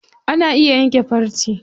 Ana iya yanke farce.